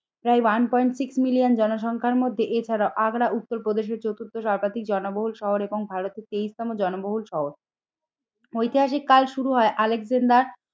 প্রায় one point six million জনসংখ্যার মধ্যে এছাড়াও আগ্রা উত্তর প্রদেশের চতুর্থ সর্বাধিক জনবহুল শহর এবং ভারতের তেইশ তম জনবহুল শহর। ঐতিহাসিক কাল শুরু হয় আলেকজান্ডার